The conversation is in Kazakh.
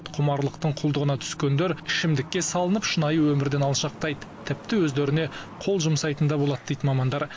құмарлықтың құлдығына түскендер ішімдікке салынып шынайы өмірден алшақтайды тіпті өздеріне қол жұмсайтын да болады дейді мамандар